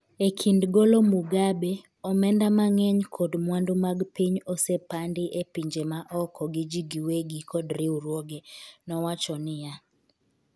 e kind golo Mugabe "omenda mang'eny kod mwandu mag piny osepandi e pinje ma oko gi ji wegi kod riwruoge," nowacho niya.